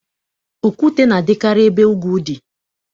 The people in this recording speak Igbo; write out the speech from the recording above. Okwute na-adịkarị ebe ugwu dị.